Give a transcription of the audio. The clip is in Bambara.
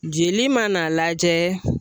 Jeli mana n'a lajɛ